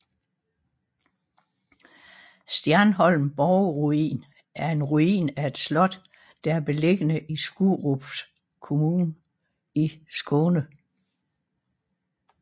Stjerneholm borgruin er en ruin af et slot der er beliggende i Skurups kommun i Skåne